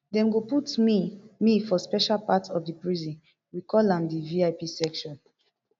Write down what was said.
dem go put me me for special part of di prison we call am di vip section